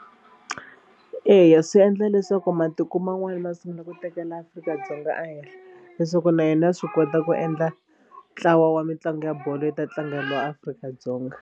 Eya swi endla leswaku matiko man'wana ma sungula ku tekela Afrika-Dzonga a henhla leswaku na yena ya wi kota ku endla ntlawa wa mitlangu ya bolo yi ta tlangeriwa Afrika-Dzonga.